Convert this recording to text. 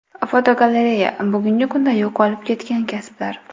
Fotogalereya: Bugungi kunda yo‘qolib ketgan kasblar.